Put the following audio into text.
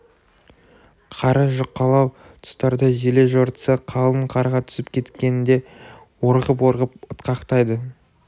қары жұқалау тұстарда желе жортса қалың қарға түсіп кеткенде орғып-орғып ытқақтайды